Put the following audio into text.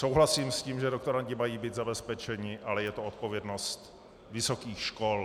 Souhlasím s tím, že doktorandi mají být zabezpečeni, ale je to odpovědnost vysokých škol.